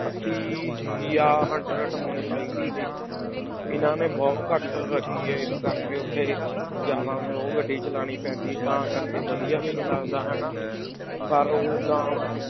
ਅੱਸੀ ਜਾਂ hundred ਹੋਣੀ ਚਾਹੀਦੀ ਸੀ, ਇਹਨਾਂ ਨੇ ਬਹੁਤ ਘੱਟ ਰੱਖੀ ਹੈ ਇਸ ਕਰਕੇ ਉੱਥੇ ਜ਼ਿਆਦਾ slow ਗੱਡੀ ਚਲਾਉਣੀ ਪੈਂਦੀ ਤਾਂ ਕਰਕੇ ਵਧੀਆ ਵੀ ਨੀ ਲੱਗਦਾ ਹਨਾ ਪਰ ਓਦਾਂ